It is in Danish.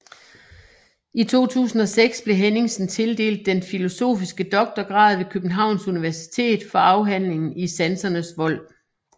I 2006 blev Henningsen tildelt den filosofiske doktorgrad ved Københavns Universitet for afhandlingen I sansernes vold